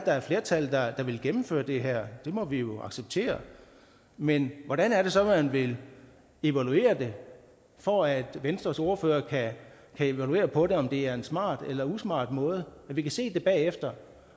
er et flertal der vil gennemføre det her det må vi acceptere men hvordan er det så man vil evaluere det for at venstres ordfører kan evaluere på om det er en smart eller usmart måde vi kan se det bagefter